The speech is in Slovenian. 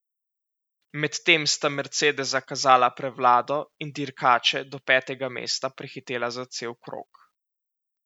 Medtem sta mercedesa kazala prevlado in dirkače do petega mesta prehitela za cel krog.